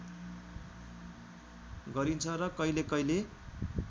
गरिन्छ र कहिले कहिले